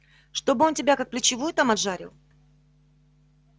чтобы он тебя как плечевую там отжарил